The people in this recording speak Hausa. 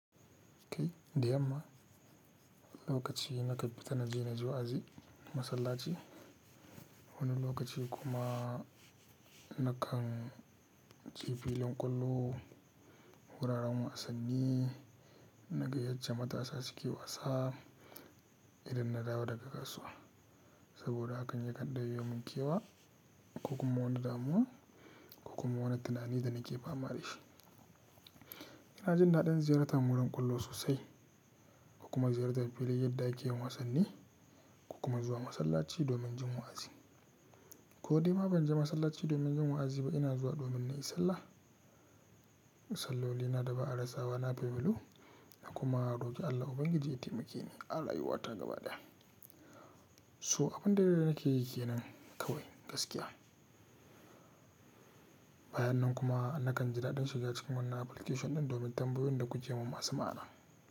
Kai dai amma lokaci na kaɓita na je na ji wa'azi, masallaci, wani lokaci kuma na kan ci filin ƙwallo, wuraren wasanni, na gayyace matasa suke wasa idan na dawo daga kasuwa. Saboda haka yakan ɗauke mun kewa ko kuma wani damuwa ko kuma wani tunani da nake fama da shi. Ina jin daɗin ziyartar wurin ƙwallo sosai kuma ziyartar filayen yadda ake yin wasanni ko kuma zuwa masallaci domin jin wa'azi. Ko dai ma ban je masallaci domin jin wa'azi ba, ina zuwa domin in yi sallah. Salloli na da ba'a razawa na bibilu na kuma roƙi Allah Ubangiji ya taimake ni a rayuwata gaba ɗaya. So abin da na ke yi ke nan kawai gaskiya. Bayan nan kuma na kan ji daɗin shiga cikin wannan application ɗin domin tambayo da ku ji mun masu ma'ana.